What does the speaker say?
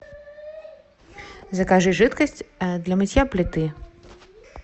закажи жидкость для мытья плиты